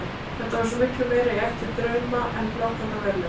Þetta var svo miklu meira í ætt við draum en blákaldan veruleikann.